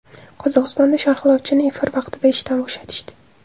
Qozog‘istonda sharhlovchini efir vaqtida ishdan bo‘shatishdi.